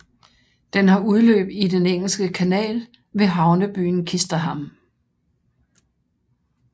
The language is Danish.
Den har udløb i Den engelske kanal ved havnebyen Ouistreham